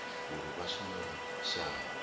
uri vha shumele shango avho